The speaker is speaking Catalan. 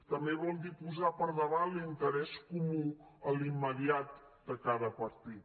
també vol dir posar per davant l’interès comú a l’immediat de cada partit